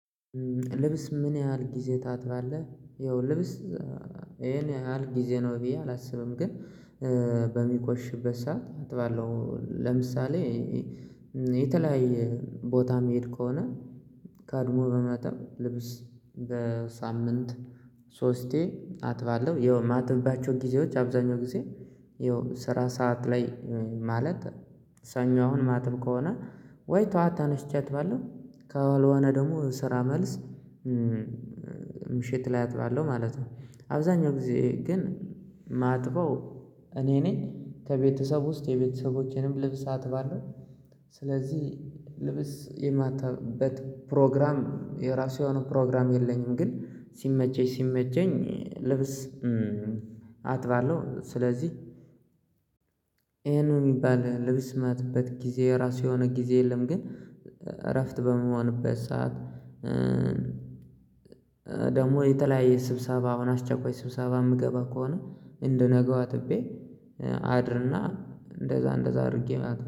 ልብስ ምን ያህል ጊዜ ታጥባለህ? ያው ልብስ ይሄን ያህል ጊዜ ነው ብዬ አላስብም ግን በሚቆሽበት ሰዓት አጥባለሁ። ለምሳሌ የተለያየ ቦታ የምሄድ ከሆነ ቀድሞ በማጠብ ልብስ በሳምንት ሶስቴ አጥባለሁ። ያው የማጥብባቸው ጊዜዎች አብዛኛው ጊዜ የስራ ሰዓት ላይ ማለት ሰኞ አሁን ማጥብ ከሆነ ወይ ጠዋት ተነሽቼ አጥባለው ካልሆነ ደግሞ ስራ መልስ ምሽት ላይ አጥባለሁ ማለት ነው። አብዛኛው ጊዜ ግን ማጥበው እኔ ነኝ ከቤተሰብ ውስጥ የቤተሰቦቼንም ልብስ አጥባለሁ። ስለዚህ ልብስ የማጥብበት ፕሮግራም የራሱ የሆነ ፕሮግራም የለኝም። ግን ሲመቸኝ ሲመቸኝ ልብስ አጥባለሁ። ስለዚህ ይሄ ነው የሚባል ልብስ ጊዜ ራሱ የሆነ ጊዜ የለም። ግን እረፍት በምሆንበት ሰዓት ደግሞ የተለያየ ስብሰባ አሁን አስቸኳይ ስብሰባ የምገባ ከሆነ እንደነገው አጥቤ። አድርና እንደዛ እንደዛ አድርጌ